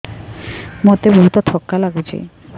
ମୋତେ ବହୁତ୍ ଥକା ଲାଗୁଛି